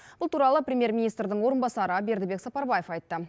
бұл туралы премьер министрдің орынбасары бердібек сапарбаев айтты